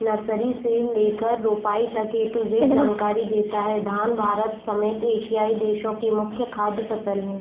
Nursery से ले कर रोपाई तक ए टू ज़ेड जानकारी देता है धान भारत समेत एसीआई देशों के मुख्य खाद्य फसल है।